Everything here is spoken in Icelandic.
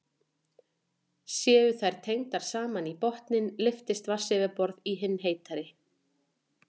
Séu þær tengdar saman í botninn lyftist vatnsborðið í hinni heitari.